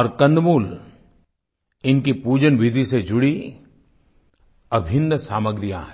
और कंदमूल इनकी पूजनविधि से जुड़ी अभिन्न सामग्रियाँ हैं